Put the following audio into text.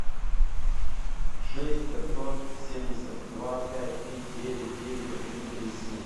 шесть пятьсот семьдесят два пять три девять девять один три семь